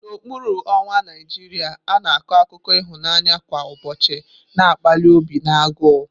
N'okpuru ọnwa Naijiria, a na-akọ akụkọ ịhụnanya kwa ụbọchị na-akpali obi na agụụ.